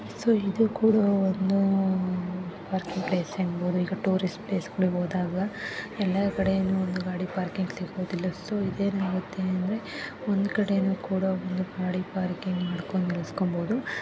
So ಇದು ಕೂಡ ಒಂದು ಪಾರ್ಕಿಂಗ್ ಪ್ಲೇಸ್ ಆಗಿರಬಹುದು ಅಥವಾ ಟೂರಿಸ್ಟ್ ಪ್ಲೇಸ್ ಆಗಿರಬಹುದು ಎಲ್ಲಾ ಕಡೆನೂ ಒಂದು ಗಾಡಿ ಪಾರ್ಕಿಂಗ್ ಸಿಗುದಿಲ್ಲ ಸೋ ಇದೇನಾಗತ್ತೆ ಅಂದ್ರೆ ಒಂದು ಕಡೆ ಗಾಡಿ ಪಾರ್ಕಿಂಗ್ ಮಾಡಿ ನಿಲ್ಸ್ಬಹುದು.